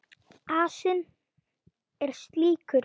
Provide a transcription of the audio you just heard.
Asinn er slíkur.